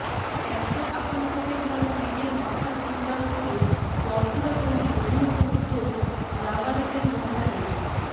cancer আক্রান্তদের জন্য নিজের মাথার চুল দান করে পরচুলা তৈরির অভিনব উদ্যোগ নাগাল্যান্ডের মহিলাদের